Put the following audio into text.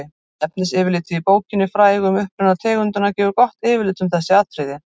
efnisyfirlitið í bókinni frægu um uppruna tegundanna gefur gott yfirlit um þessi atriði